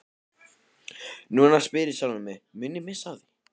Núna spyr ég sjálfan mig, mun ég missa af því?